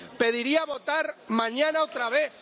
Pediría votar mañana otra vez.